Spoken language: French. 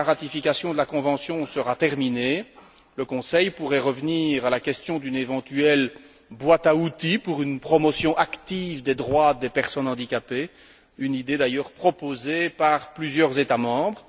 Dès que la ratification de la convention sera terminée, le Conseil pourrait revenir à la question d'une éventuelle boîte à outils pour une promotion active des droits des personnes handicapées une idée d'ailleurs proposée par plusieurs États membres.